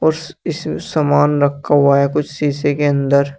और इस इसमें सामान रखा हुआ है कुछ शीशे के अंदर।